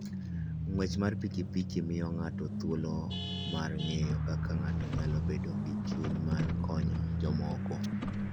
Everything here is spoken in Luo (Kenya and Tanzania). Ng'wech mar pikipiki miyo ng'ato thuolo mar ng'eyo kaka ng'ato nyalo bedo gi chuny mar konyo jomoko.